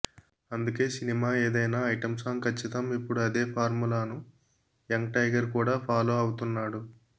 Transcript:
అందుకే సినిమా ఏదైనా item song కచ్చితం ఇప్పుడు అదే ఫార్ములాను యంగ్ టైగర్ కూడా ఫాలోఅవుతున్నాడు